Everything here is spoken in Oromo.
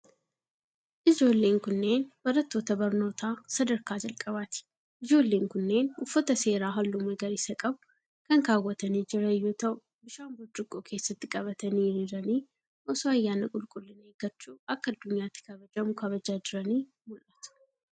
Ijoolleen kunneen, barattoota barnoota sadarkaa jalqabaati. Ijoolleen kunneen uffata seeraa haalluu magariisa qabu kan kaawwatanii jiran yoo ta'u, bishaan burcuqqoo keessatti qabatanii hiriiranii osoo ayyaana qulqullina eeggachuu akka addunyaatti kabajamu kabajaa jiranii mul'atu.